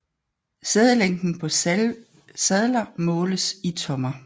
Sædelængden på sadler måles i tommer